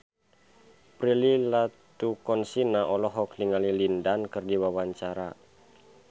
Prilly Latuconsina olohok ningali Lin Dan keur diwawancara